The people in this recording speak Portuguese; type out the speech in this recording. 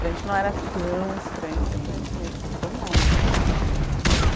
Para gente não era tão estranho, porque a gente meio que acostumou, né?